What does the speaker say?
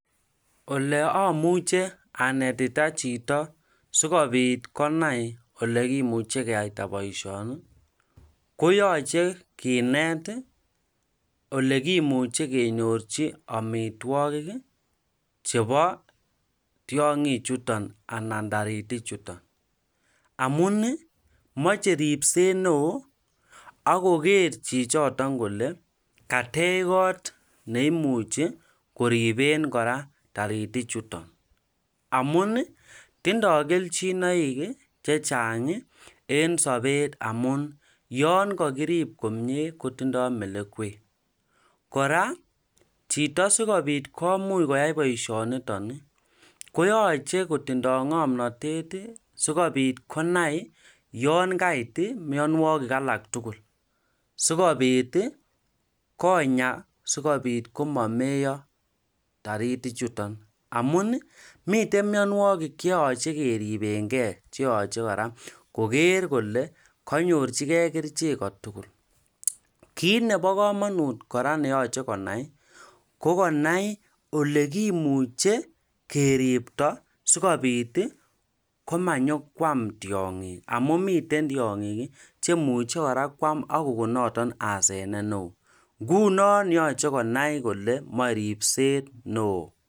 Ole imuche anetita chito sikobit konai olekimuche keaita boisyoni koyachei kinet olekinyorchin amitwokik chebo tyongik chutok amu meche ribset neo akoker kole katech kot neo neimuchi korib taritik chutok amu ngerib komye kotinye melekwek kotinye kamanutiet neo kora amu yakarib chito kotinye melekwek mising sikonai akobo myanwokik kora sikonya inendet sikobit komameiyo taritik chutok